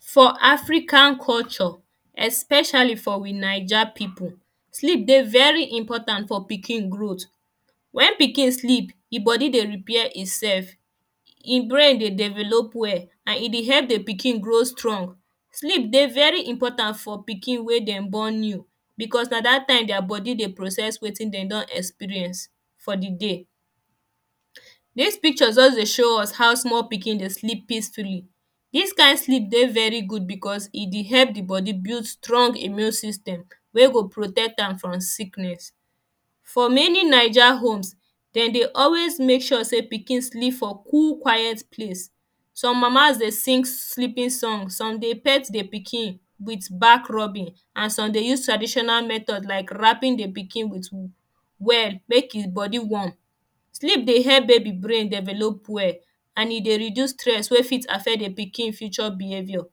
For African culture especially for we naija people sleep dey very important for pikin growth. When pikin sleep e body dey repair himself himself brain dey develop well and e dey help the pikin grow strong. Sleep dey very important for pikin wey dem born new because na that time their body dey process wetin dem don experience for the day. This picture just dey show us how small pikindey sleep peacefully. This kind sleep dey very good because e dey help the body build strong immune system wey go protect am from sickness. For many Naija homes demdey always make sure say pikin sleep for cool quiet place. Some mama’s dey sing sleeping song some dey pet the pikin with back rubbing and some dey use traditional method like wrapping the pikin with well make him body warm. Sleep dey help baby brain develop well well and and e dey reduce stress wey fit affect the pikin future behaviour.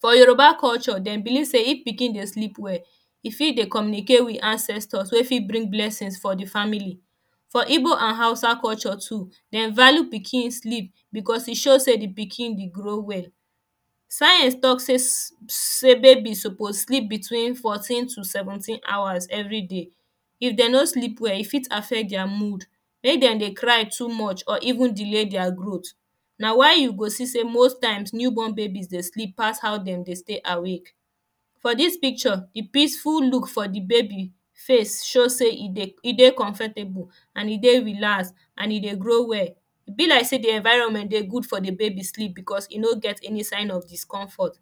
For Yoruba culture dem believe say if pikin dey sleep well e fit dey communicate with ancestors wey fit bring blessings for the family for igbo and hausa culture too dem value pikin sleep because e show say pikin dey grow well. Science talk say baby dey suppose sleep between fourteen to seventeen hours everyday. If dem no sleep well e fit affect their mood make dem dey cry too much or even delay their growth na why you go see say most times new born babies dey sleep past how demdey stay awake For this picture the peaceful look for the baby face show say e dey comfortable and e dey relax and e dey grow well E be like say the environment dey good for the baby sleep because e no get any kind of discomfort.